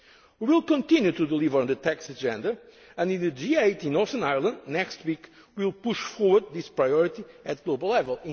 on savings taxation. We will continue to deliver on the tax agenda, and in the G8 in Northern Ireland next week we will push forward this priority